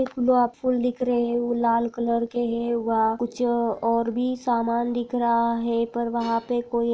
गूलाब फूल दिख रहे है वो लाल कलर के है वहा कुछ ओर भी सामान दिख रहा है पर वहा पे कोई--